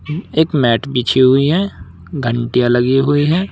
एक मैट बिजी हुई है घंटियां लगी हुई है।